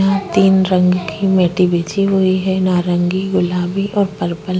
यहाँ तीन रंग के मिट्टी बिछी हुई है नारंगी गुलाबी और पर्पल --